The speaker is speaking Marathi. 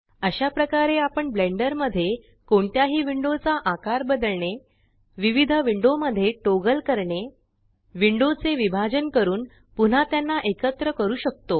अशा प्रकारे आपण ब्लेंडर मध्ये कोणत्याही विंडो चा आकार बदलणे विविध विंडो मध्ये टॉगल करणे विंडो चे विभाजन करून पुन्हा त्याना एकत्र करू शकतो